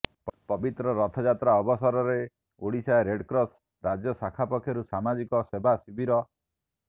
ପବିତ୍ର ରଥଯାତ୍ରା ଅବସରରେ ଓଡିଶା ରେଡ଼କ୍ରସ୍ ରାଜ୍ୟ ଶାଖା ପକ୍ଷରୁ ସାମାଜିକ ସେବା ଶିବିର